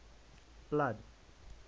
blood